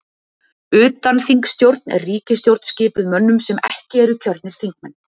Utanþingsstjórn er ríkisstjórn skipuð mönnum sem ekki eru kjörnir þingmenn.